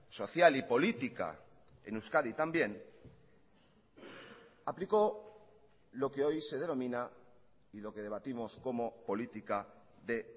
social y política en euskadi también aplicó lo que hoy se denomina y lo que debatimos como política de